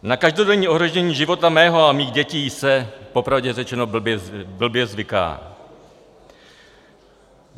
Na každodenní ohrožení života mého a mých dětí se popravdě řečeno blbě zvyká.